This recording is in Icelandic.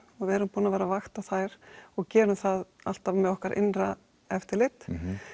og erum búin að vera að vakta þær og gerum það alltaf með okkar innra eftirlit